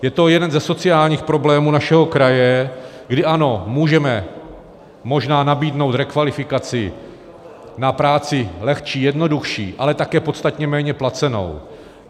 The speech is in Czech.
Je to jeden ze sociálních problémů našeho kraje, kdy ano, můžeme možná nabídnout rekvalifikaci na práci lehčí, jednodušší, ale také podstatně méně placenou.